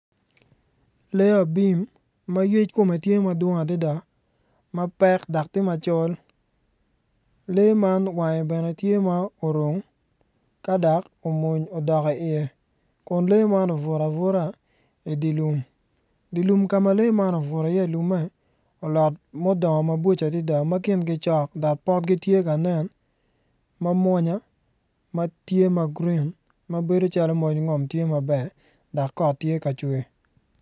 Lee abim ma yec kome tye madwong adada mapekdok tye macol lee man wange bene tye ma orung ka dok omwony odok i iye kun lee man obuto abuta idye lum dye lum ka ma lee man obuto i iye ilume olot ma odongo maboco adada ma kingi cok cok dok potgi tye ka nen ma mwonya matye ma gurin ma bedo calo moj ngom tye maber dok kot tye ka cwer